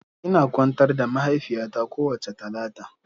Ina kwantar da mahaifiyata kowace Talata.